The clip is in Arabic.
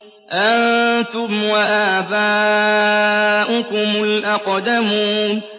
أَنتُمْ وَآبَاؤُكُمُ الْأَقْدَمُونَ